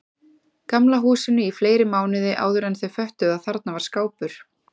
Gamla húsinu í fleiri mánuði áðuren þau föttuðu að þarna var skápur.